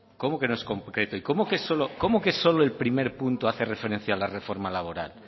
y cómo que solo el primer punto hace referencia a la reforma laboral